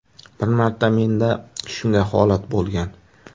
Bir marta menda shunday holat bo‘lgan.